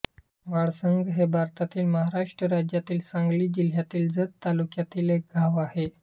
वाळसंग हे भारतातील महाराष्ट्र राज्यातील सांगली जिल्ह्यातील जत तालुक्यातील एक गाव आहे